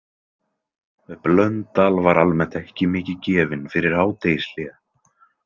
Blöndal var almennt ekki mikið gefinn fyrir hádegishlé.